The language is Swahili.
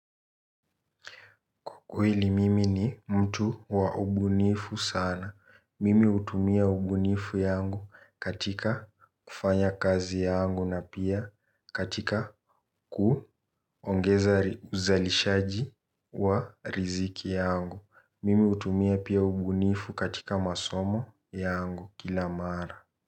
Kwa kueli mimi ni mtu wa ubunifu sana. Mimi utumia ubunifu yangu katika kufanya kazi yangu na pia katika kuongeza uzalishaji wa riziki yangu. Mimi utumia pia ubunifu katika masomo yangu kila mara.